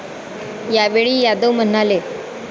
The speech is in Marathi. यावेळी यादव म्हणाले,.